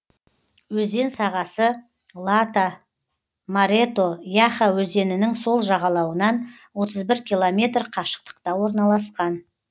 өзен сағасы лата марето яха өзенінің сол жағалауынан отыз бір километр қашықтықта орналасқан